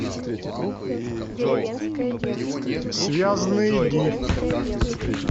связанные дни